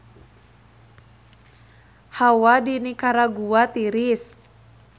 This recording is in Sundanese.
Hawa di Nikaragua tiris